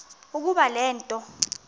ukuba le nto